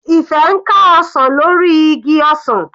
Ife ń ká ọsàn lórí igi ọsàn.